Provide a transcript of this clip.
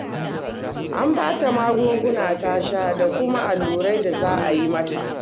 An ba ta magunguna ta sha da kuma allurai da za a yi mata